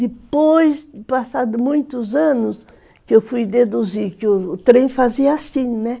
Depois de passados muitos anos, que eu fui deduzir que o trem fazia assim, né?